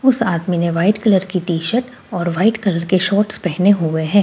उस आदमी ने व्हाइट कलर की टी शर्ट और वाइट कलर के शॉर्ट्स पहने हुए हैं।